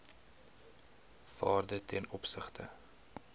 waarde ten opsigte